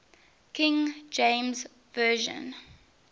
king james version